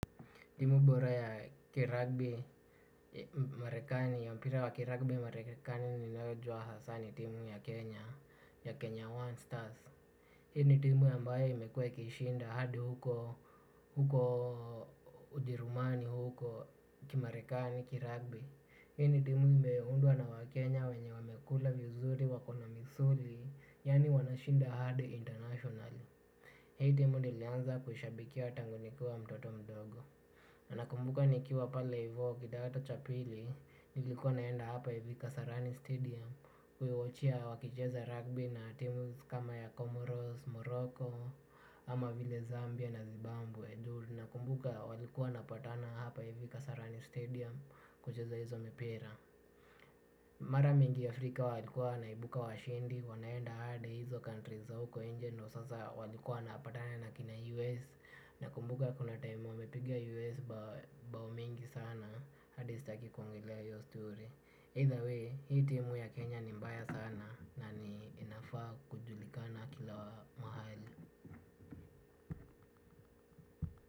Timu bora ya mpira wa kiragbi Marekani ninaojuwa hasaa ni timu ya Kenya, ya Kenya One Stars. Hii ni timu ambayo imekuwa ikishinda hadi huko, Ujerumani huko, kimarekani kiragbi. Hii ni timu imeundwa na Wakenya wenye wamekula vizuri wako na misuri, yani wanashinda hadi international. Hii timu nilianza kushabikia tangu nikiwa mtoto mdogo. Nakumbuka nikiwa pale ivo kidato cha pili nilikuwa naenda hapa ivi Kasarani Stadium kuiwatchia wakicheza rugby na teams kama ya Comoros, Morocco ama vile Zambia na Zimbabwe. Nakumbuka walikuwa wanapatana hapa ivi Kasarani Stadium kucheza hizo mipira. Mara mingi Afrika walikuwa wanaibuka washindi wanaenda hadi hizo country za huko inje na sasa walikuwa wanapatana na kina US. Nakumbuka kuna time nimepiga US bao mengi sana hadi staki kuongelea hiyo story Either way hii timu ya Kenya ni mbaya sana na ninafaa kujulikana kila mahali.